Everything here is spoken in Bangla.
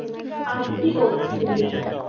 আগে কি করছিলিস?